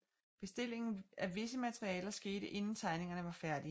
Bestillingen af visse materialer skete inden tegningerne var færdige